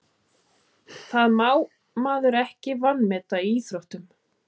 Það má maður ekki vanmeta í íþróttum.